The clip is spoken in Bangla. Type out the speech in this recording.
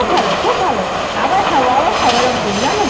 খুব ভালো খুব ভালো আবার খাবো আবার খাবো এরম করি জানো তো